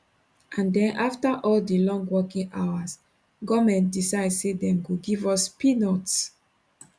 and den afta all di long working hours goment decide say dem go give us peanuts